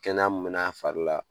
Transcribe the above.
Kɛnɛ min mɛna a fari la